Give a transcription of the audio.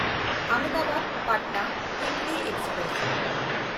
ᱟᱦᱚᱢᱫᱟᱵᱟᱫ–ᱯᱟᱴᱱᱟ ᱩᱭᱤᱠᱞᱤ express